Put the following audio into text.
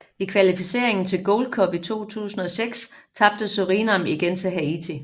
I kvalificeringen til Gold Cup i 2006 tabte Surinam igen til Haiti